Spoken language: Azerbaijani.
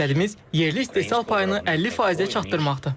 Məqsədimiz yerli istehsal payını 50 faizə çatdırmaqdır.